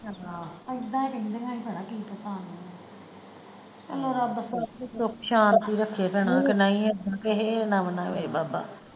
ਏਦਾਂ ਹੀ ਕਹਿੰਦਿਆਂ ਹੀ ਭੈਣਾਂ ਕੀ ਚਲੋ ਰੱਬ ਸੁਖ ਸ਼ਾਂਤੀ ਰੱਖੇ ਭੈਣਾਂ ਕੇ ਨਹੀਂ ਏਦਾਂ ਕਿਸੇ ਨਾਲ ਵੀ ਨਾ ਹੋਏ ਬਾਬਾ।